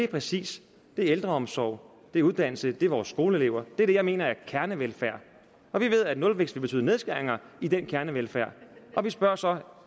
præcis ældreomsorg det er uddannelse det er vores skoleelever det er det jeg mener er kernevelfærd og vi ved at nulvækst vil betyde nedskæringer i den kernevelfærd og vi spørger så